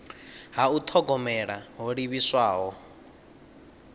ha u thogomela ho livhiswaho